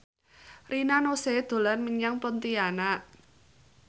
Rina Nose dolan menyang Pontianak